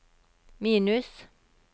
minus